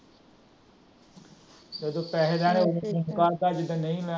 ਜਦੋ ਲੈਣੇ ਹੋਣ ਉਦੋਂ ਕਰਦਾ